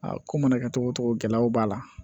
Aa ko mana kɛ cogo o cogo gɛlɛyaw b'a la